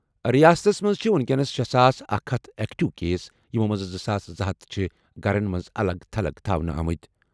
ریاستس منٛز چھِ وُنکیٚنَس شے ساس اکھ ہتھ ایکٹیو کیس، یِمو منٛزٕ زٕ ساس زٕ ہتھ چھِ گرن منٛز الگ تھلگ تھاونہٕ آمٕتۍ ۔